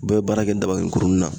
U bɛɛ be baara kɛ dabanin kurunin na.